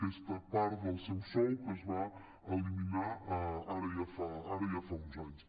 aquesta part del seu sou que es va eliminar ara ja fa uns anys